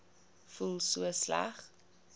voel so sleg